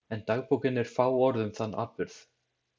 En dagbókin er fáorð um þann atburð.